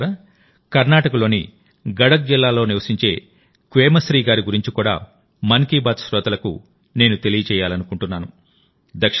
మిత్రులారాకర్ణాటకలోని గడక్ జిల్లాలో నివసించే క్వేమశ్రీ గారి గురించి కూడామన్ కీ బాత్ శ్రోతలకు నేను తెలియజేయాలనుకుంటున్నాను